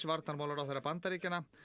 varnarmálaráðherra Bandaríkjanna